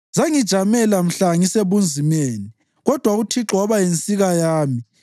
Zangijamela mhla ngisebunzimeni, kodwa uThixo waba yinsika yami.